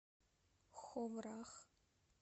ховрах